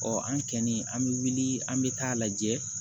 an kɛni an bɛ wuli an bɛ taa lajɛ